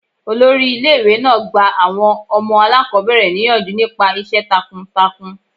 Olórí ilé ìwé náà gba àwọn ọmọ aláàkọ́bẹ̀rẹ̀ níyànjú nípa iṣẹ́ takun takun.